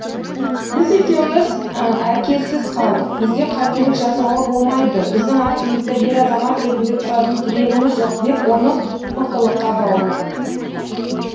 біз екеуміз әкесіз қалдық бізге қателік жасауға болмайды біздің артымызда ер азамат ретінде тұратын тірегіміз жоқ деп оны мықтылыққа баулыдым